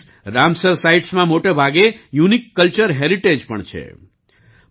worldએસ Ramsar સાઇટ્સ માં મોટાભાગે યુનિક કલ્ચર હેરિટેજ પણ છે